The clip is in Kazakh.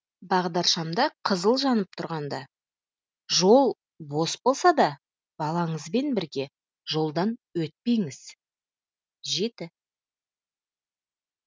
бағдаршамда қызыл жанып тұрғанда жол бос болса да балаңызбен бірге жолдан өтпеңіз жеті